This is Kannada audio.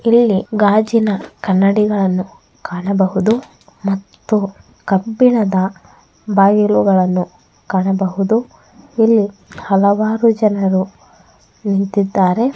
ಇಲ್ಲಿ ಗಾಜಿನ ಕನ್ನಡಿಗಳನ್ನು ಕಾಣಬಹುದು ಮತ್ತು ಕಬ್ಬಿಣದ ಕಾಣಬಹುದು ಇಲ್ಲಿ ಹಲವಾರು ಜನರು ನಿಂತಿದ್ದಾರೆ .